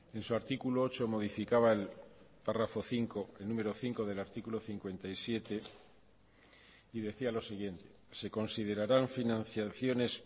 en su artículo ocho modificaba el párrafo cinco el número cinco del artículo cincuenta y siete y decía lo siguiente se considerarán financiaciones